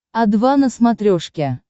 о два на смотрешке